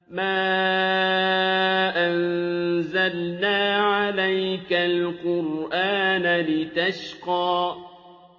مَا أَنزَلْنَا عَلَيْكَ الْقُرْآنَ لِتَشْقَىٰ